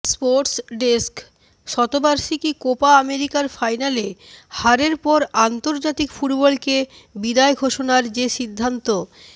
sports desk শতবার্ষিকী Copa আমেরিকার ফাইনালে হারের পর আন্তর্জাতিক ফুটবলকে বিদায় ঘোষণার যে সিদ্ধান্ত